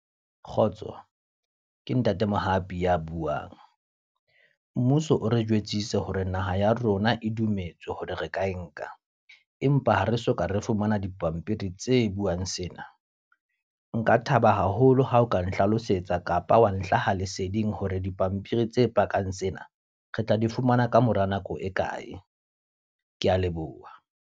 Kgotso, ke ntate Mohapi ya buang. Mmuso o re jwetsitse hore naha ya rona e dumetse hore re ka e nka. Empa ha re soka re fumana dipampiri tse buwang sena. Nka thaba haholo ha o ka nhlalosetsa kapa wa nhlahang leseding hore dipampiri tse pakang sena re tla di fumana ka mora nako e kae. Ke a leboha.